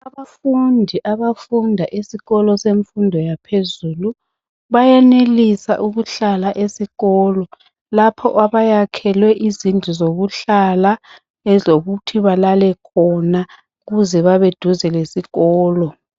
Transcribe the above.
Abafundi abafunda esikolo semfundo yaphezulu bayenelisa ukuhlala esikolo lapho abayakhelwe izindlu zokuhlala ezokuthi balale khona ukuze babeduze lesikolo.